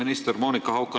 Austatud minister!